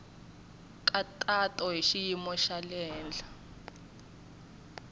nkhaqato hi xiyimo xa le